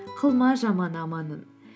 қылма жаман аманын